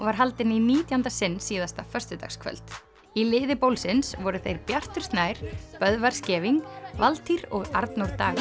var haldin í nítjánda sinn síðasta föstudagskvöld í liði voru þeir Bjartur Snær Böðvar Scheving Valtýr og Arnór Dagur